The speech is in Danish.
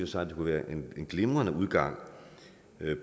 sig at det kunne være en glimrende udgang